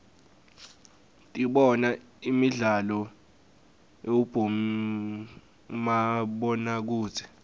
dibona imidlalo uibomabonokudze